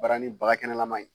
Barani bagakɛnɛlaman in